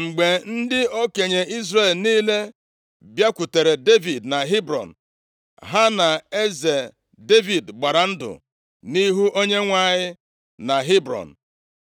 Mgbe ndị okenye Izrel niile bịakwutere Devid na Hebrọn, ha na eze Devid gbara ndụ nʼihu Onyenwe anyị na Hebrọn.